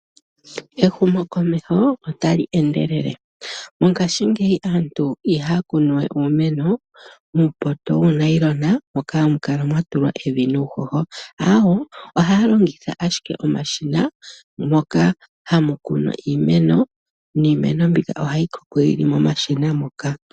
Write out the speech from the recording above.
Ehumokomeho otali endelele, mongaashi ngeye aantu iha ya kunuwe uumeno muupoto wuu nayilona moka hamukala mwatulwa evi nuuhoho aawe, ohaa longitha ashike omashina moka hamu kunwa iimeno niimeno mbika ohayi koko yili mo mashina moka.